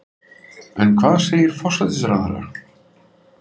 En hvað segir forsætisráðherra?